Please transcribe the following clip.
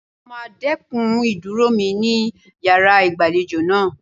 Mo máa dẹ́kun ìdúró mi ní yàrá ìgbàlejò náà.